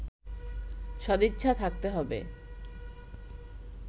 সদিচ্ছা থাকতে হবে